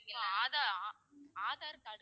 so Aadhaar, Aadhaar card கேட்டீ~